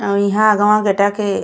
और इहा अगवा गेटवा के --